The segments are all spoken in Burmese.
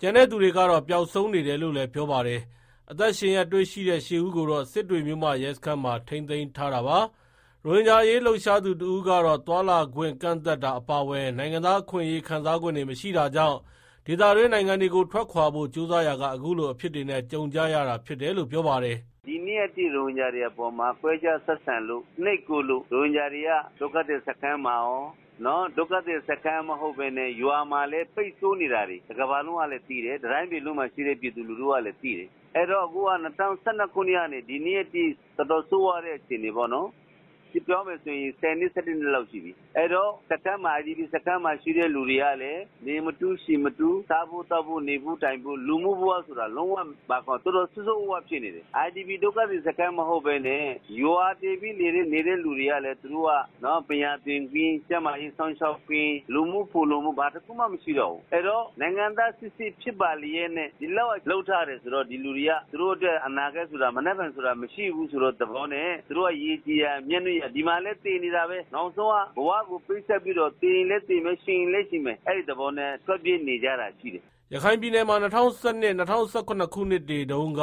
ကျန်သူတွေကတော့ ပျောက်ဆုံးနေတယ်လို့လည်း ပြောပါတယ်။ အသက်ရှင်လျက်တွေ့ရှိတဲ့ ၈ဦးကိုတော့ စစ်တွေ မြို့မ ရဲစခန်းမှာထိန်းသိမ်းထားတာပါ။ ရိုဟင်ဂျာအရေး လှုပ်ရှားသူ တဦးကတော့ သွားလာခွင့် ကန့်သတ်တာ အပါအဝင် နိုင်ငံသားအခွင့်အရေး ခံစားခွင့်တွေ မရှိတာကြောင့် ဒေသတွင်း နိုင်ငံတွေကို ထွက်ခွာဖို့ ကြိုးစားရာက အခုလို အဖြစ်တွေနဲ့ ကြုံကြရတာလို့ ပြောပါတယ်။ “ ဒီနေ့အထိရိုဟင်ဂျာတွေအပေါ် ခွဲခြားဆက်ဆံလို့ နှိပ်ကွပ်လို့ ရိုဟင်ဂျာတွေက ဒုက္ခသည်စခန်းမှာရော ဒုက္ခသည်စခန်းမဟုတ်တဲ့ ရွာမှာလည်း ပိတ်ဆို့နေတာတွေ တကမ္ဘာလုံးက သိတယ်၊ တတိုင်းပြည်လုံးမှာရှိတဲ့ ပြည်သူလူထုကလည်း သိတယ်။ အခုက ၂၀၁၂ခုနှစ်ကနေ ဒီနေ့အထိ တော်တော်ဆိုးရွားတဲ့ အခြေအနေပေါ့နော်၊ ပြောမယ်ဆိုရင် ၁၁ နှစ်လောက်ရှိပြီ အဲဒီတော့ IDPစခန်းမှာရှိတဲ့ သူတွေကလည်း နေမထူး သေမထူး စားဖို့ သောက်ဖို့ နေဖို့ ထိုင်ဖို့ လူမှုဘဝဆိုတာ မရှိ တော်တော်ဆိုးဆိုးရွားရွားဖြစ်နေတယ်၊ IDPဒုက္ခသည်စခန်းမဟုတ်ပဲနဲ့ ရွာတည်ပြီးနေတဲ့ သူတွေကလည်း ပညာသင်ခွင့် ကျန်းမာရေး စောင့်ရှောက်ခွင့် လူမှုဖုံလုံမှု ဘာတခုမှမရှိတော့ဘူး၊ အဲဒီတော့ နိုင်ငံသားစစ်ဖြစ်ပါလျက်နဲ့ ဒီလောက်လုပ်ထားတယ်ဆိုတော့ ဒီလူတွေက ရေကြည်ရာ မြက်နုရာ ဒီမှာလည်းသေနေတာပဲ နောက်ဆုံး ဘဝကို ပေးဆပ်ပြီးတော့ သေရင်လည်း သေမယ် ရှင်ရင်လည်း ရှင်မယ် အဲဒီသဘောနဲ့ ထွက်ပြေးနေကြတာရှိတယ်။” ရခိုင်ပြည်နယ်မှာ ၂၀၁၂ ၊ ၂၀၁၇ ခုနှစ်တွေတုန်းက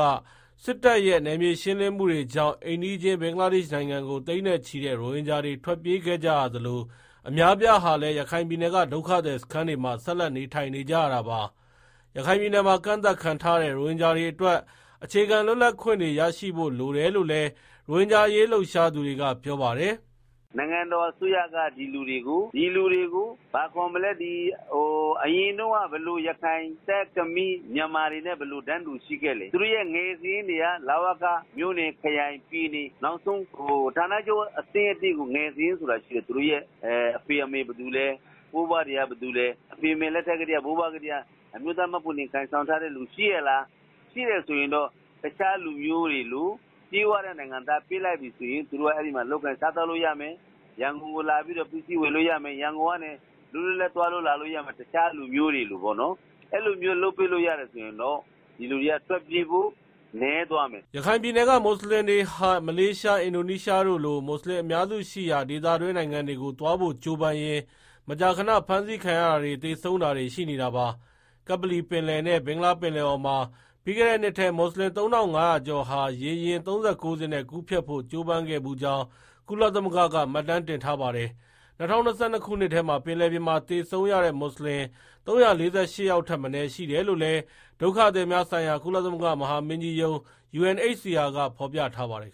စစ်တပ်ရဲ့ နယ်မြေရှင်းလင်းမှုတွေကြောင့် အိမ်နီးချင်း ဘင်္ဂလားဒေ့ရှ် နိုင်ငံကို သိန်းနဲ့ချီတဲ့ ရိုဟင်ဂျာတွေ ထွက်ပြေးခဲ့ကြရသလို၊ အများအပြားဟာလည် ရခိုင်ပြည်နယ်က ဒုက္ခသည်စခန်းတွေမှာ ဆက်လက် နေထိုင်နေကြရတာပါ။ ရခိုင်ပြည်နယ်မှာ ကန့်သတ်ခံထားရတဲ့ ရိုဟင်ဂျာတွေအတွက် အခြေခံလွတ်လပ်ခွင့်တွေ ရရှိဖို့ လိုတယ်လို့လည်း ရိုဟင်ဂျာအရေး လှုပ်ရှားသူတွေက ပြောပါတယ်။ “ နိုင်ငံတော်အစိုးရက ဒီလူတွေကို အရင်တုန်းက ဘယ်လို ရခိုင်၊ သက်၊ ခမီ၊ မြန်မာတွေနဲ့ ဘယ်လိုတန်းတူရှိခဲ့လဲ သူတို့ရဲ့ ငယ်စာရင်းတွေက လဝက မြို့နယ်ခရိုင်ပြည်နယ် နောက်ဆုံး ဌာနချုပ်အဆင့်ကို ငယ်စာရင်းဆိုတာရှိတယ်။ သူတို့ရဲ့ အဖေအမေ ဘယ်သူလဲ ဘိုးဘွားတွေက ဘယ်သူလဲ အဖေအမေလက်ထက်ကတည်းက အမျိုးသားမှတ်ပုံတင် ကိုင်ဆောင်ထားတဲ့ လူရှိရဲ့လား ရှိတယ်ဆိုရင် တခြားလူတွေလို ပြည့်ဝတဲ့ နိုင်ငံသားပေးလိုက်ပြီဆိုရင် သူတို့က အဲဒီလောက် လုပ်ကိုင်စားသောက်လို့ ရမယ်၊ ရန်ကုန်ကို လာပြီးတော့ ပစ္စည်းဝယ်လို့ရမယ်၊လွတ်လွတ်လပ်လပ်သွားလို့လာလို့ရမယ်၊ တခြားလူမျိုးတွေလို ပေါ့နော်၊ အဲလိုမျိုး လုပ်ပေးလို့ ရတယ်ဆိုရင် ဒီလူတွေ ထွက်ပြေးတာနည်းသွားမယ်။” ရခိုင်ပြည်နယ်က မွတ်ဆလင်တွေဟာ မလေးရှား၊အင်းဒိုနီးရှားတို့လို မွတ်ဆလင်အများစုရှိရာ ဒေသတွင်းနိုင်ငံတွေကို သွားဖို့ ကြိုးပမ်းရင်း မကြာခဏဖမ်းဆီးခံရတာတွေ သေဆုံးတာတွေရှိနေတာပါ။ ကပ္ပလီပင်လယ်နဲ့ ဘင်္ဂလားပင်လယ်အော်မှာ ပြီးခဲ့တဲ့နှစ်ထဲ မွတ်ဆလင် ၃၅ဝဝကျော်ဟာ ရေယာဉ် ၃၉ စင်းနဲ့ ကူးဖြတ်ဖို့ ကြိုးဖမ်းခဲ့ဖူးကြောင်း ကုလသမဂ္ဂက မှတ်တမ်းတင်ထားပါတယ်။ ၂၀၂၂ခုနှစ်ထဲ ပင်လယ်ပြင်မှာ သေဆုံးရတဲ့ မွတ်ဆလင် ၃၄၈ ယောက်ထက်မနည်းရှိတယ်လို့လည်း ဒုက္ခသည်များဆိုင်ရာ ကုလသမဂ္ဂမဟာမင်းကြီးရုံး (UNHCR)ကဖော်ပြထားပါတယ်